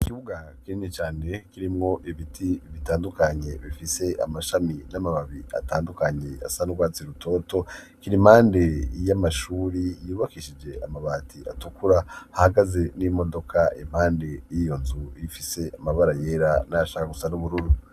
Ikibuga kinini cane kirimwo ibiti bitandukanye bifise amashami n'amababi atandukanye asa n'urwatsi rutoto kiri impande y'amashuri yubakishije amabati atukura hahagaze n'imodoka impande y'iyo nzu ifise amabara yera ashaka gusa n'ubururu.